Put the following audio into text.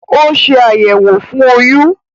Ó ṣe àyẹ̀wò fún oyún